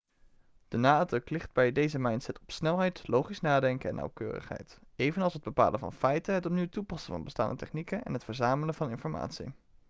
de nadruk ligt bij deze mindset op snelheid logisch nadenken en nauwkeurigheid evenals het bepalen van feiten het opnieuw toepassen van bestaande technieken en het verzamelen van informatie